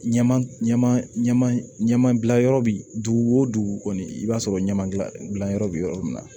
Ɲɛma ɲɛma ɲɛma ɲɛma bila yɔrɔ bi dugu o dugu kɔni i b'a sɔrɔ ɲɛma gila gilan yɔrɔ bi yɔrɔ min na